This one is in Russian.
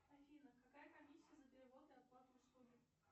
афина какая комиссия за перевод и оплату услуги